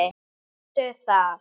Sástu það?